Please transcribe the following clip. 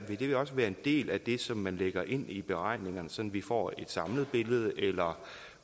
vil det også være en del af det som man lægger ind i beregningerne sådan at vi får et samlet billede eller